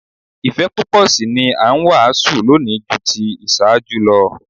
Ìfẹ́ púpọ̀ sí i ni a ń wàásù lónìí ju ti ìṣáájú lọ